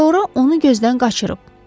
Sonra onu gözdən qaçırıb.